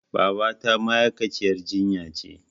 Babata ma'aikaciyar jinya ce.